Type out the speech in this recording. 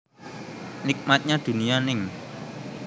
Nikmatnya Dunia ning